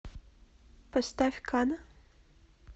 поставь кана